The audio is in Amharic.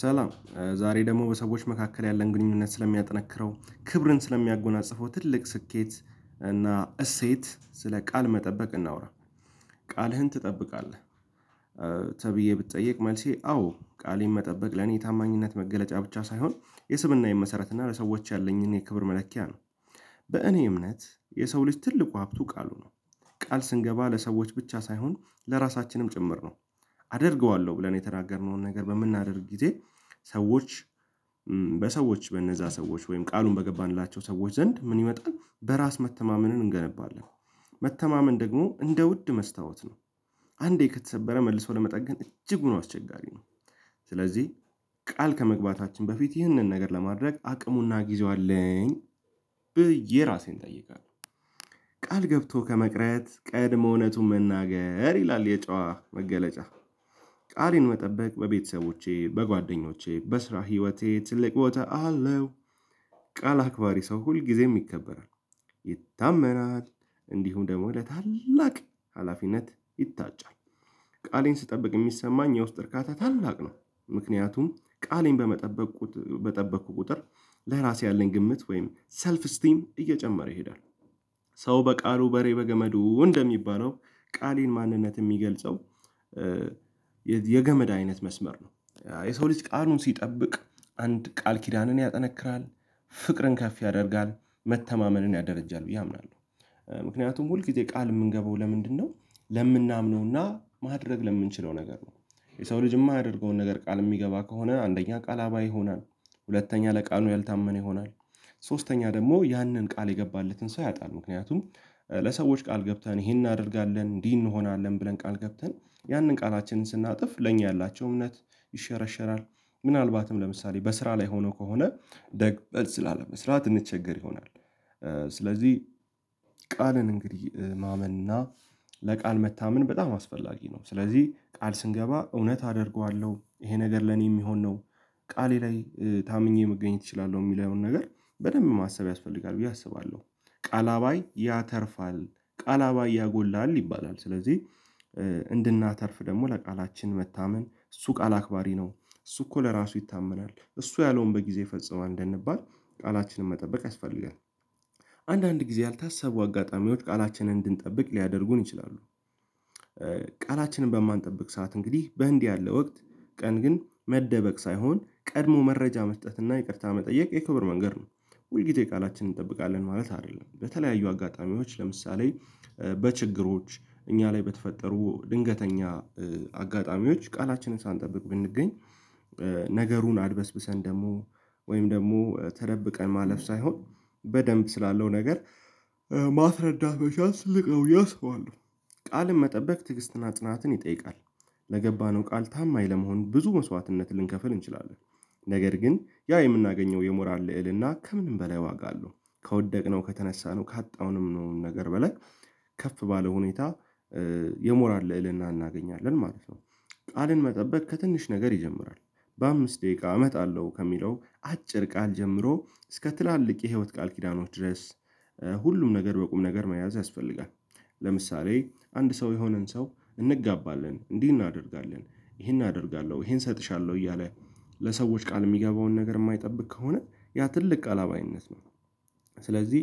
ሰላም ዛሬ ደግሞ በሰዎች መካከል ያለን ግንኙነት ስለሚያጠነክረው ክብርን ስለሚያጎናጽፈው ትልቅ ስኬት እና እሴት ስለ ቃል መጠበቅ እናውራ ቃልህን ትጠብቃለህ? ተብዬ ብጠይቅ መልሴ አዎ ቃሌን መጠበቅ ለኔ ታማኝነት መገለጫ ብቻ ሳይሆን የስብእና የመሰረት እና ለሰዎች ያለኝን የክብር መለኪያ ነው። በእኔ እምነት የሰው ልጅ ትልቁ ሀብቱ ቃሉ ነው። ቃል ስንገባ ለሰዎች ብቻ ሳይሆን ለራሳችንም ጭምር ነው። አደርገዋለሁ ብለን የተናገርነውን ነገር በምናደርግ ጊዜ። ሰዎች በሰዎች በነዛ ሰዎች ወይም ቃሉን በገባንላቸው ሰዎች ዘንድ ምን ይመጣል በራስ መተማመንን እንገነባለን። መተማመን ደግሞ እንደ ውድ መስታወት ነው። አንዴ ከተሰበረ መልሶ ለመጠገን እጅጉን አስቸጋሪ ነው። ስለዚህ ቃል ከመግባታችን በፊት ይህንን ነገር ለማድረግ አቅሙና ጊዜው አለኝ። ብዬ ራሴን ጠይቃለሁ። ቃል ገብቶ ከመቅረት ቀድሞ እውነቱን መናገር ይላል የጨዋ መገለጫ። ቃሌን መጠበቅ በቤተሰቦቼ በጓደኞቼ በስራ ህይወቴ ትልቅ ቦታ አለው። ቃል አክባሪ ሰው ሁልጊዜም ይከበራል ይታመናል። እንዲሁም ደግሞ ለታላቅ ሀላፊነት ይታጫል። ቃሌን ስጠብቅ የሚሰማኝ የውስጥ እርካታ ታላቅ ነው። ምክንያቱም ቃሌን በመጠበቅ በጠበቅኩ ቁጥር ለራሴ ያለኝ ግምት ወይም ሰልፍ ስቲም እየጨመረ ይሄዳል። ሰው በቃሉ በሬ በገመዱ እንደሚባለው ቃሌን ማንነቴ የሚገልጸው። የገመድ አይነት መስመር ነው። የሰው ልጅ ቃሉን ሲጠብቅ አንድ ቃል ኪዳንን ያጠነክራል። ፍቅርን ከፍ ያደርጋል መተማመንን ያደርጃል ብዬ አምናለሁ። ምክንያቱም ሁል ጊዜ ቃል የምንገባው ለምንድነው? ለምናምነውና ማድረግ ለምንችለው ነገር ነው። የሰው ልጅ የማያደርገውን ነገር ቃል የሚገባ ከሆነ አንደኛ ቃላባይ ይሆናል። ሁለተኛ ለቃሉ ያልታመነ ይሆናል። ሶስተኛ ደግሞ ያንን ቃል የገባለትን ሰው ያጣል። ምክንያቱም ለሰዎች ቃል ገብተን ይሄን እናደርጋለን እንዲህ እንሆናለን ብለን ቃል ገብተን ያንን ቃላችንን ስናጥፍ ለኛ ያላቸው እምነት ይሸረሸራል። ምናልባትም ለምሳሌ በስራ ላይ ሆኖ ከሆነ ደግመን ስራ ለመስራት እንቸገር ይሆናል። ስለዚህ ቃልን እንግዲህ ማመንና ለቃል መታመን በጣም አስፈላጊ ነው። ስለዚህ ቃል ስንገባ እውነት አደርገዋለሁ ይሄ ነገር ለኔ የሚሆን ነው። ቃሌ ላይ ታምኜ መገኘት እችላለሁ የሚለውን ነገር በደንብ ማሰብ ያስፈልጋል ብዬ አስባለሁ። ቃላባይ ያተርፋል ቃላባይ ያጎላል ይባላል ስለዚህ። እንድናተርፍ ደግሞ ለቃላችን መታመን እሱ ቃል አክባሪ ነው እሱ እኮ ለራሱ ይታመናል እሱ ያለውን በጊዜ ይፈጽማል እንደንባል ቃላችንን መጠበቅ ያስፈልጋል። አንዳንድ ጊዜ ያልታሰቡ አጋጣሚዎች ቃላችንን እንድንጠብቅ ሊያደርጉን ይችላሉ። ቃላችንን በማንጠብቅ ሰዓት እንግዲህ በእንዲህ ያለ ወቅት ቀን ግን መደበቅ ሳይሆን ቀድሞ መረጃ መስጠት እና ይቅርታ መጠየቅ የክብር መንገድ ነው። ሁልጊዜ የቃላችንን እንጠብቃለን ማለት አይደለም በተለያዩ አጋጣሚዎች ለምሳሌ በችግሮች እኛ ላይ በተፈጠሩ ድንገተኛ አጋጣሚዎች ቃላችንን ሳንጠብቅ ብንገኝ። ነገሩን አድበስብሰን ደግሞ ወይም ደግሞ ተደብቀን ማለፍ ሳይሆን በደንብ ስላለው ነገር ማስረዳት መቻል ትልቅ ነው ብዬ አስባለው። ቃልን መጠበቅ ትዕግስትና ጽናትን ይጠይቃል። ለገባነው ቃል ታማኝ ለመሆን ብዙ መስዋዕትነት ልንከፍል እንችላለን። ነገር ግን ያ የምናገኘው የሞራል ልዕልና ከምንም በላይ ዋጋ አለው። ከወደቅነው ከተነሳነው ካጣውንም ነው ነገር በላይ። ከፍ ባለ ሁኔታ የሞራል ልዕልና እናገኛለን ማለት ነው። ቃልን መጠበቅ ከትንሽ ነገር ይጀምራል። በአምስት ደቂቃ አመጣለሁ ከሚለው አጭር ቃል ጀምሮ እስከ ትላልቅ የህይወት ቃል ኪዳኖች ድረስ። ሁሉም ነገር በቁም ነገር መያዝ ያስፈልጋል። ለምሳሌ አንድ ሰው የሆነን ሰው እንጋባለን እንዲህ እናደርጋለን ይሄን አደርጋለሁ ይሄን እሰጥሻለሁ እያለ ለሰዎች ቃል የሚገባውን ነገር የማይጠብቅ ከሆነ ያ ትልቅ ቃላባይነት ነው። ስለዚህ